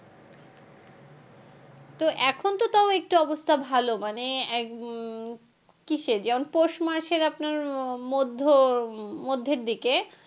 তো এখন তো তাও একটু অবস্থা ভালো মানে উম কিসে যেমন পৌষ মাসে আপনার মধ্য, মধ্যের দিকে,